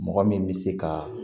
Mɔgɔ min bɛ se ka